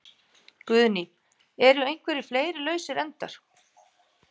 Guðný: Eru einhverjir fleiri lausir endar?